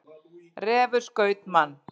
Refur skaut mann